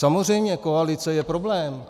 Samozřejmě koalice je problém.